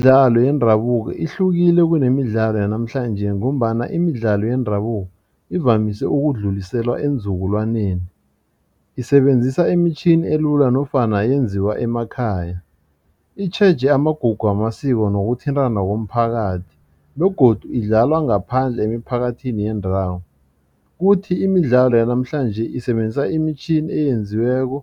Imidlalo yendabuko ihlukile kunemidlalo yanamhlanjesi ngombana imidlalo yendabuko ivamise ukudluliselwa eenzukulwaneni. Isebenzisa imitjhini elula nofana yenziwa emakhaya itjheje amagugu wamasiko nokuthintana komphakathi begodu idlalwa ngaphandle emiphakathini yendawo. Kuthi imidlalo yanamhlanje isebenzisa imitjhini eyenziweko